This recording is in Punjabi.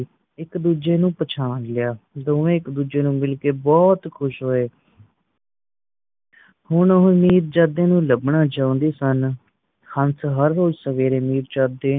ਇੱਕ ਦੂੱਜੇ ਨੂੰ ਪਛਾਣ ਲਿਆ ਦੋਵੇ ਇੱਕ ਦੂਜੇ ਨੂੰ ਮਿਲ ਕੇ ਬਹੁਤ ਕੁਸ਼ ਹੋਏ ਹੁਣ ਉਹ ਮਿਰਜਾਦੇ ਨੂੰ ਲਬਣਾ ਚਾਹੀਦੀ ਸਨ ਹੰਸ ਹਰ ਰੋਜ ਸਵੇਰੇ ਮਿਰਜਾਦੇ